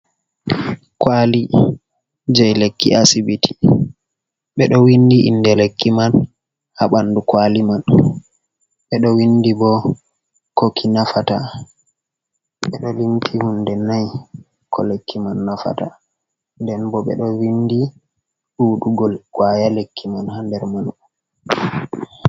Kwali jei lekki asibiti, ɓeɗo windi inde lekki man ha ɓandu kwali man, ɓeɗo windi bo koki nafata, ɓeɗo limti hunde nai ko lekki man nafata, nden bo ɓeɗo windi ɗuɗugol kwaya lekki man ha nder man.